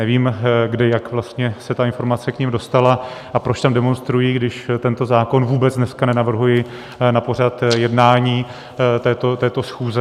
Nevím, kde, jak vlastně se ta informace k nim dostala a proč tam demonstrují, když tento zákon vůbec dneska nenavrhuji na pořad jednání této schůze.